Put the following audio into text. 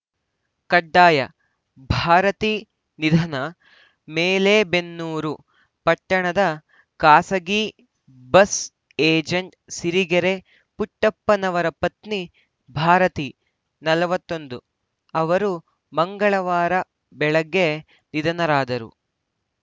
ಕಡ್ಡಾಯಭಾರತಿ ನಿಧನ ಮಲೇಬೆನ್ನೂರು ಪಟ್ಟಣದ ಖಾಸಗಿ ಬಸ್‌ ಏಜೆಂಟ್‌ ಸಿರಿಗೆರೆ ಪುಟ್ಟಪ್ಪನವರ ಪತ್ನಿ ಭಾರತಿ ನಲವತ್ತೊಂದು ಅವರು ಮಂಗಳವಾರ ಬೆಳಗ್ಗೆ ನಿಧನರಾದರು